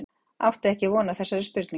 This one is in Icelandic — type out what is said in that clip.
Átti ekki von á þessari spurningu.